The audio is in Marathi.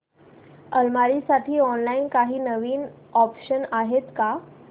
अलमारी साठी ऑनलाइन काही नवीन ऑप्शन्स आहेत का